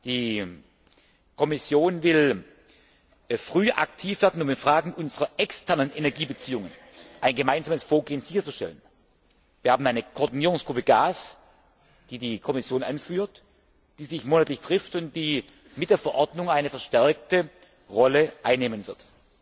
Die Kommission will früh aktiv werden, um in Fragen unserer externen Energiebeziehungen ein gemeinsames Vorgehen sicherzustellen. Wir haben eine Koordinierungsgruppe Gas, die die Kommission anführt, die sich monatlich trifft und die mit der Verordnung eine verstärkte Rolle einnehmen wird.